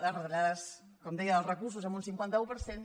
les retallades com deia dels recursos en un cinquanta un per cent